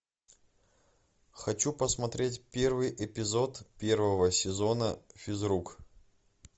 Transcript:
хочу посмотреть первый эпизод первого сезона физрук